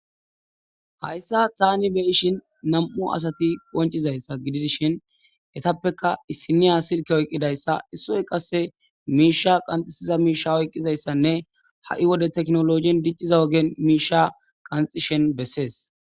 hayssa taani be ishin nam7u asati ponchizayssa gidi dishin etappeka issiniya silke oyqqidayssa issoy qasse miisha qanxisiza miisha oyqqizayssanne ha7i wode teknologin dicciza ogen miisha qanxishen bessees